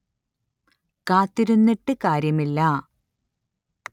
കാത്തിരുന്നിട്ട് കാര്യമില്ല